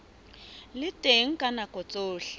le teng ka nako tsohle